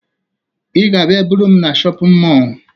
Ị ga-abịa buru m na shọpịn mọọ